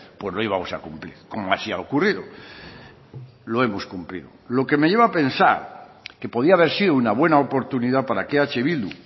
pues lo íbamos a cumplir como así ha ocurrido lo hemos cumplido lo que me lleva a pensar que podía haber sido una buena oportunidad para que eh bildu